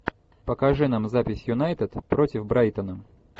покажи нам запись юнайтед против брайтона